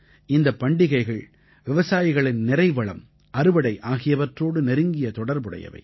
இந்தப் பண்டிகைகள் விவசாயிகளின் நிறைவளம் அறுவடை ஆகியவற்றோடு நெருங்கிய தொடர்புடையவை